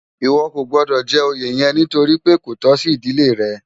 Iwò kó gbòdò jè óyé yèn nitóri pé kó tò si idilé rè